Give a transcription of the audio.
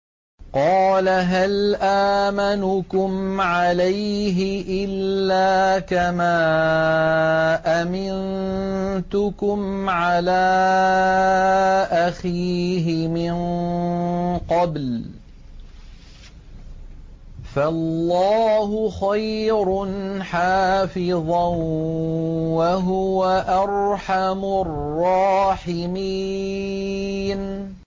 قَالَ هَلْ آمَنُكُمْ عَلَيْهِ إِلَّا كَمَا أَمِنتُكُمْ عَلَىٰ أَخِيهِ مِن قَبْلُ ۖ فَاللَّهُ خَيْرٌ حَافِظًا ۖ وَهُوَ أَرْحَمُ الرَّاحِمِينَ